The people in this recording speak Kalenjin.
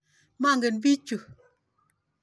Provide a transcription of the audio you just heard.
Mongen piik chu.